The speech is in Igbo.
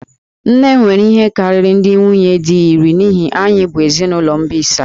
Nne m nwere ihe karịrị ndị nwunye di iri n'ihi na anyị bụ ezinụlọ mbisa